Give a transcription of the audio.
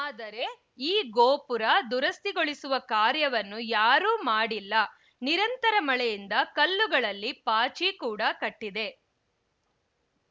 ಆದರೆ ಈ ಗೋಪುರ ದುರಸ್ತಿಗೊಳಿಸುವ ಕಾರ್ಯವನ್ನು ಯಾರೂ ಮಾಡಿಲ್ಲ ನಿರಂತರ ಮಳೆಯಿಂದ ಕಲ್ಲುಗಳಲ್ಲಿ ಪಾಚಿ ಕೂಡಾ ಕಟ್ಟಿದೆ